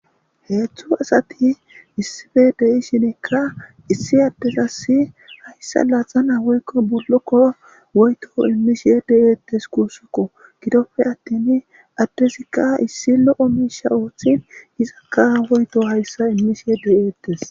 heetztdzu asati issife dei shinekka issi addesassi hayssa laaxana woykko bullokkora woyto immishiye deyeettes kuussukko gidoppe attin addesikka issi lo7o miisha ooththin hizakka woyto hayssa immishiye deyeettes